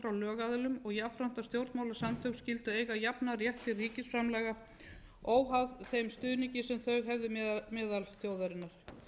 lögaðilum og jafnframt að stjórnmálasamtök skyldu eiga jafnan rétt til ríkisframlaga óháð þeim stuðningi sem þau hefðu meðal þjóðarinnar